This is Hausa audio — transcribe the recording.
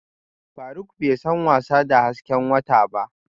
Faruk bai san wasa da hasken wata ba